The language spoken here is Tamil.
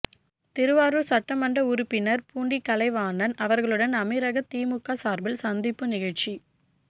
திருவாரூர் சட்ட மன்ற உறுப்பினர் பூண்டி கலைவாணன் அவர்களுடன் அமீரக திமுக சார்பில் சந்திப்பு நிகழ்ச்சி